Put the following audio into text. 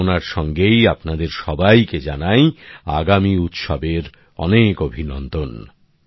এই কামনার সঙ্গেই আপনাদের সবাইকে জানাই আগামী উৎসবের অনেক অভিনন্দন